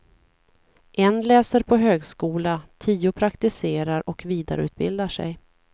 En läser på högskola, tio praktiserar och vidareutbildar sig.